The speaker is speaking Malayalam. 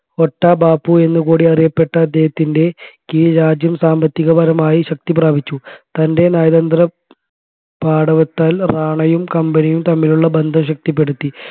ഒട്ടാ ബാപു എന്ന് കൂടി അറിയപ്പെട്ട അദ്ദേഹത്തിൻെറ കീഴിൽ രാജ്യം സാമ്പത്തികപരമായി ശക്തി പ്രാപിച്ചു തൻറെ നയതന്ത്രപാടവത്താൽ റാണയും company യും തമ്മിലുള്ള ബന്ധം ശക്തിപ്പെടുത്തി